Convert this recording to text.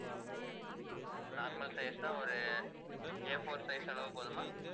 normal size னா ஒரு A4 size அளவு போதுமா